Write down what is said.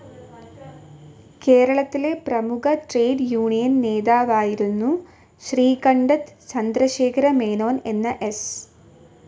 കേരളത്തിലെ പ്രമുഖ trade union നേതാവായിരുന്നു ശ്രീകണ്ഡത് ചന്ദ്രശേഖര മേനോൻ എന്ന എസ്.